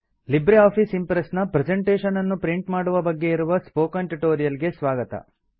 Libre office Impress ನ presentation ಅನ್ನು print ಮಾಡುವ ಬಗ್ಗೆ ಇರುವ ಸ್ಪೋಕನ್ ಟ್ಯುಟೋರಿಯಲ್ ಗೆ ಸ್ವಾಗತ